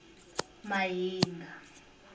mahinga